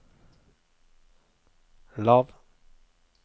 lav